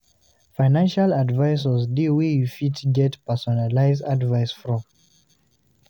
financial advisors de wey you fit get personalised advice from